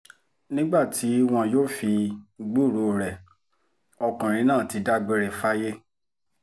nígbà tí wọn yóò sì fi gbúròó rẹ̀ ọkùnrin náà ti dágbére fáyé